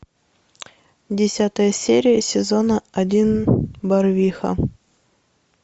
десятая серия сезона один барвиха